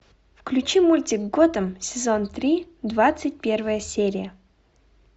включи мультик готэм сезон три двадцать первая серия